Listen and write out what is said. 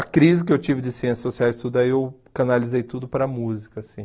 A crise que eu tive de ciências sociais e tudo, aí eu canalizei tudo para música, assim.